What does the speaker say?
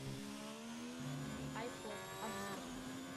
айпод обзор